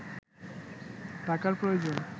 টাকার প্রয়োজন